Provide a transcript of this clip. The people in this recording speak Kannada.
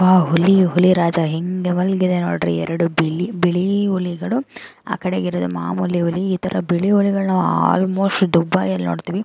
ಆ ಹುಲಿಯು ಹುಲಿರಾಜ ಹೆಂಗೆ ಮಲಗಿದೆ ನೋಡ್ರಿ ಎರಡು ಬಿಲಿ_ಬಿಳಿ ಹುಲಿಗಳು ಆಕಡೆ ಇರೋದು ಮಾಮೂಲಿ ಹುಲಿ ಇತರ ಬಿಳಿ ಹುಲಿಗಳನ್ನ ಆಲ್ಮೋಸ್ಟ್ ದುಬಾಯಲ್ಲಿನೋಡತ್ತಿವಿ.